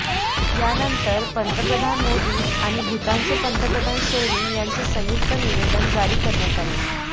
यानंतर पंतप्रधान मोदी आणि भूतानचे पंतप्रधान शेरिंग यांचे संयुक्त निवेदन जारी करण्यात आले